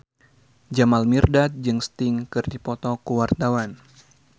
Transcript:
Jamal Mirdad jeung Sting keur dipoto ku wartawan